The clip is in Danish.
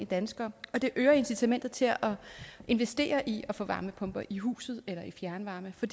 danskere og det øger incitamentet til at investere i at få varmepumper i huset eller i fjernvarme for